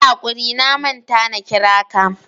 Yi hakuri na manta na kira ka.